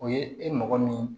O ye e mɔgɔ min